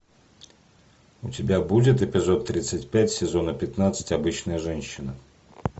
у тебя будет эпизод тридцать пять сезона пятнадцать обычная женщина